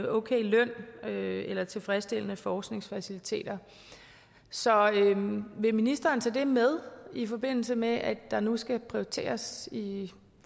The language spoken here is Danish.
ok løn eller tilfredsstillende forskningsfaciliteter så vil ministeren tage det med i forbindelse med at der nu skal prioriteres i